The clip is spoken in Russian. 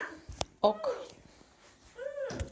ок